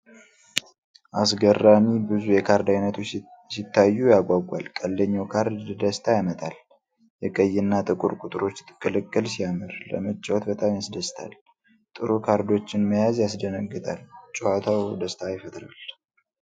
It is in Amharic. አስገራሚ! ብዙ የካርድ አይነቶች ሲታዩ ያጓጓል። ቀልደኛው ካርድ ደስታ ያመጣል። የቀይና ጥቁር ቁጥሮች ቅልቅል ሲያምር፣ ለመጫወት በጣም ያስደስታል። ጥሩ ካርዶችን መያዝ ያስደነግጣል። ጨዋታው ደስታ ይፈጥራል።